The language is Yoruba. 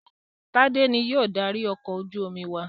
Tádé ni yóò darí ọkọ̀ ojú-omi wa.